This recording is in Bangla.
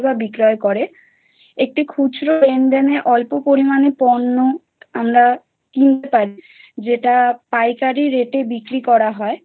বিক্রয় করে একটি খুচরো লেনদেনের অল্প পরিমাণে পণ্য আমরা কিনতে পারি যেটা পাইকারি রেটে বিক্রি করা হয়।